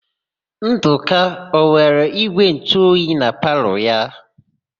Ndụka ọ nwere ígwèntụoyi na palọ ya?